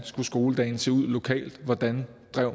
skoledagen skulle se ud lokalt hvordan